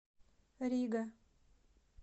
рига